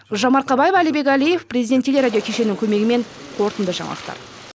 гүлжан марқабаева әлібек әлиев президент телерадио кешенінің көмегімен қорытынды жаңалықтар